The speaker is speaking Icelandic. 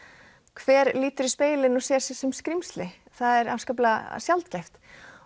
hver lítur í spegilinn og sér sig sem skrímsli það er afskaplega sjaldgæft